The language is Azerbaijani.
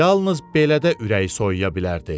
Yalnız belə də ürək soyuya bilərdi.